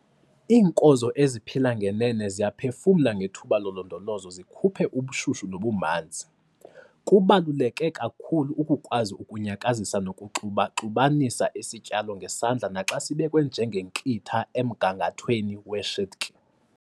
Iinkozo eziphila ngenene ziyaphefumla ngethuba lolondolozo zikhuphe ubushushu nobumanzi. Kubaluleke kakhulu ukukwazi ukunyakazisa nokuxuba-xubanisa isityalo ngesandla naxa sibekwe njengenkitha emgangathweni weshedki.